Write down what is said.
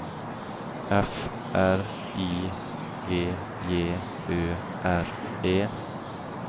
F R I G J Ø R E